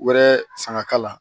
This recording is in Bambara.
Wɛrɛ san ka k'a la